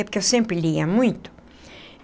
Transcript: Porque eu sempre lia muito.